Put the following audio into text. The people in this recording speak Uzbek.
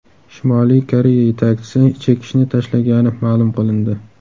Shimoliy Koreya yetakchisi chekishni tashlagani ma’lum qilindi.